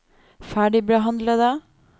ferdigbehandlede